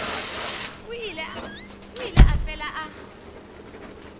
o ile a fela a